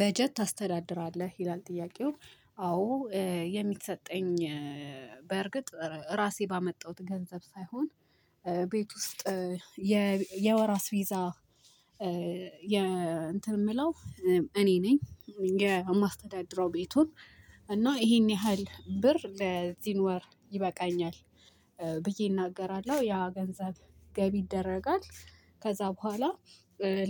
በጀት ታስተዳድራለህ ይላል ጥያቄው? አዎ የሚሰጠኝ በእርግጥ ራሴ ባመጣሁት ገንዘብ ሳይሆን ቤት ውስጥ የወራ አስፔዛ የ እንትን የምለው። እኔ ነኝ የማስተዳደር ቤቱን እና ይሄን ያህል ብር ለዚህን ወር ይበቃኛል ብዬ እናገራለሁ። ያ ገንዘብ ገቢ ይደረጋል። ከዛ በኋላ